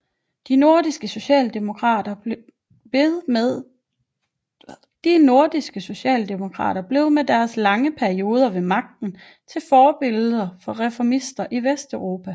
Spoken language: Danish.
De nordiske socialdemokrater blev med deres lange perioder ved magten til forbilleder for reformister i Vesteuropa